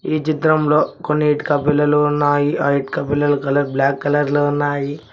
ఈ చిత్రంలో కొన్ని ఇటుక పిల్లర్లు ఉన్నాయి ఆ ఇటుక పిల్లర్ల కలర్ బ్లాక్ కలర్ లో ఉన్నాయి